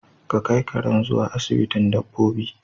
Ka kai karen zuwa asibitin dabbobi